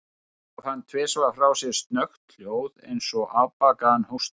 Svo gaf hann tvisvar frá sér snöggt hljóð, eins og afbakaðan hósta.